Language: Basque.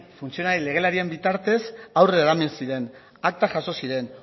funtzionario legelarien bitartez aurrera eraman ziren aktak jaso ziren